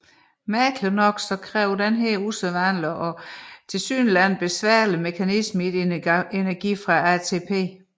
Forunderligt nok kræver denne usædvanlige og tilsyneladende besværlige mekanisme ikke energi fra ATP